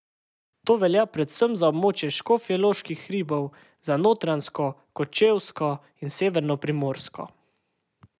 To velja predvsem za območje Škofjeloških hribov, za Notranjsko, Kočevsko in severno Primorsko.